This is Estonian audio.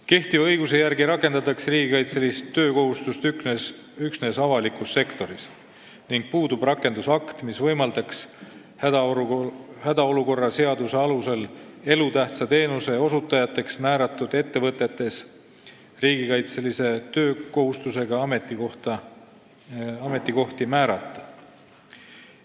Kehtiva õiguse järgi rakendatakse riigikaitselist töökohustust üksnes avalikus sektoris ning puudub rakendusakt, mis võimaldaks hädaolukorra seaduse alusel elutähtsa teenuse osutajateks määratud ettevõtetes riigikaitselise töökohustusega ametikohti määrata.